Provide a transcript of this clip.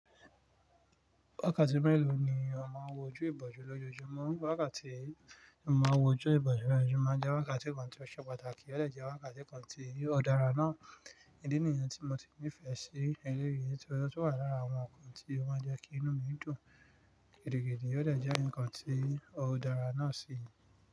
Wákàtí mélòó ni èèyàn máa ń wojú ìbòjú lójoojúmọ́? Wákàtí tí èèyàn máa ń wojú ìbòjú lójoojúmọ́ jẹ́ wákàtí kan tí ó ṣe pàtàkì, ó lè jẹ́ wákàtí kan tí ó dára ná. Ìdí nìyẹn tí mo ti nífẹ̀ẹ́ sí eré yìí torí ó tún wà lára àwọn ohun tí ó máa ń jẹ́ kí inú mi dùn gidigidi, ó lè jẹ́ ǹkan tí ó dára náà sì.